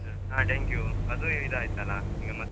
ಹಾ dengue ಅದೂ ಇದ್ ಆಯ್ತಲ್ಲಾ ಈಗ.